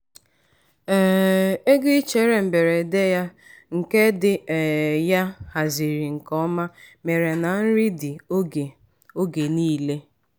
um ego ichere mberede ya nke di um ya haziri nke ọma mere na nri dị oge oge niile.